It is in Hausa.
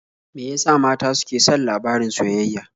Me ya sa mata suke son labarin soyayya?